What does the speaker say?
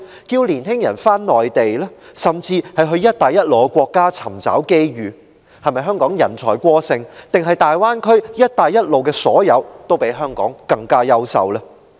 着年青人到內地生活，甚至到"一帶一路"的沿線國家尋找機遇，香港是否人才過剩，還是大灣區、"一帶一路"的所有均比香港更優勝？